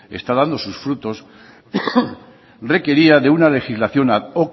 está dando sus frutos requería de una legislación ad